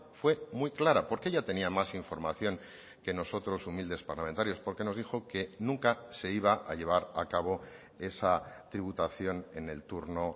fue muy clara porque ella tenía más información que nosotros humildes parlamentarios porque nos dijo que nunca se iba a llevar a cabo esa tributación en el turno